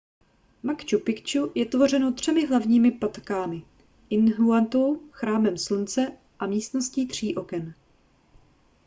machu picchu je tvořeno třemi hlavními patkámi intihuatanou chrámem slunce a místností tří oken